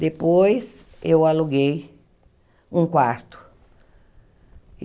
Depois, eu aluguei um quarto.